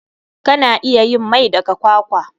Kana iya yin mai daga kwakwa.